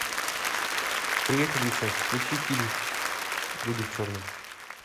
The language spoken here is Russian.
привет алиса включи фильм люди в черном